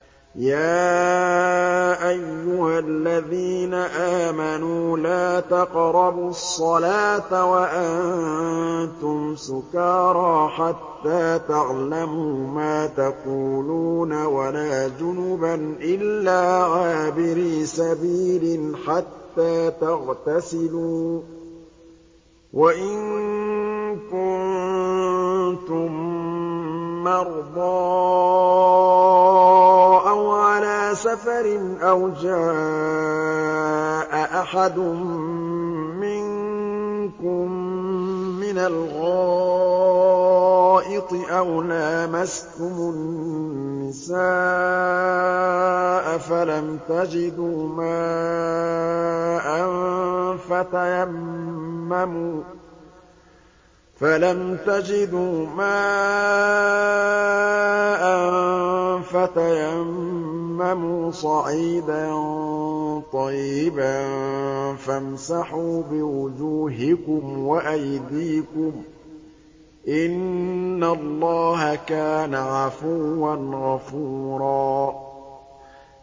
يَا أَيُّهَا الَّذِينَ آمَنُوا لَا تَقْرَبُوا الصَّلَاةَ وَأَنتُمْ سُكَارَىٰ حَتَّىٰ تَعْلَمُوا مَا تَقُولُونَ وَلَا جُنُبًا إِلَّا عَابِرِي سَبِيلٍ حَتَّىٰ تَغْتَسِلُوا ۚ وَإِن كُنتُم مَّرْضَىٰ أَوْ عَلَىٰ سَفَرٍ أَوْ جَاءَ أَحَدٌ مِّنكُم مِّنَ الْغَائِطِ أَوْ لَامَسْتُمُ النِّسَاءَ فَلَمْ تَجِدُوا مَاءً فَتَيَمَّمُوا صَعِيدًا طَيِّبًا فَامْسَحُوا بِوُجُوهِكُمْ وَأَيْدِيكُمْ ۗ إِنَّ اللَّهَ كَانَ عَفُوًّا غَفُورًا